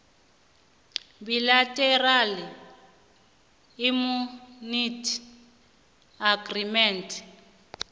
bilateral immunity agreement